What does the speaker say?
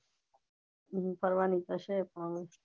ફરવાની તો છે પણ